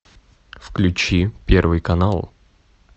включи первый канал